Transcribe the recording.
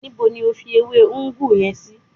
Níbo ni o fi ewé ugwu yen sí?